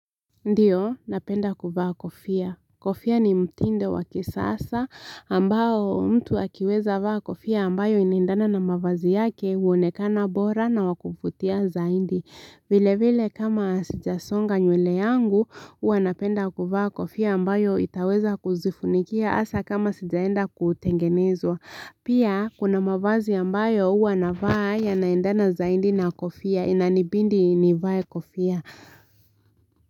Ndiyo, napenda kuvaa kofia. Kofia ni mtindo wakisasa ambao mtu akiweza vaa kofia ambayo inaendana na mavazi yake uonekana bora na wakuvutia zaidi. Vile vile kama sijasonga nywele yangu, huwa napenda kuvaa kofia ambayo itaweza kuzifunikia asa kama sijaenda kutengenezwa. Pia, kuna mavazi ambayo huwa navaa yanaendana zaidi na kofia inanibidi nivae kofia.